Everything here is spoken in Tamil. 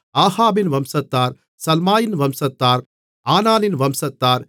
ஆகாபின் வம்சத்தார் சல்மாயின் வம்சத்தார் ஆனானின் வம்சத்தார்